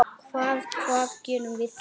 Hvað, hvað gerum við þá?